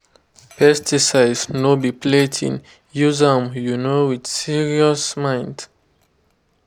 pesticide no be plaything—use am um with serious mind.